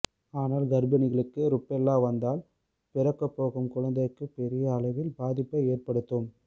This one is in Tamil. ஆனால் கர்ப்பிணிகளுக்கு ருபெல்லா வந்தால் பிறக்கப்போகும் குழந்தைக்கு பெரிய அளவில் பாதிப்பை ஏற்படுத்தும்